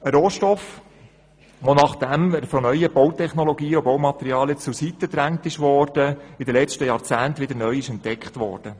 Es ist ein Rohstoff, der – nachdem er lange Zeit von anderen Materialien verdrängt worden war – in den letzten Jahrzehnten wieder neu entdeckt wurde.